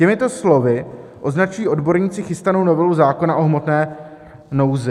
Těmito slovy označují odborníci chystanou novelu zákona o hmotné nouzi.